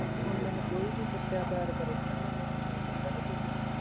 ਹੁਣ ਮੈਨੂੰ ਕੋਈ ਵੀ ਸੱਚਾ ਪਿਆਰ ਕਰੇ ਹੈਨਾ ਮੈਨੂੰ ਯਕੀਨ ਨੀ ਹੁੰਦਾ ਕਿਸੇ ਤੇ ਵੀ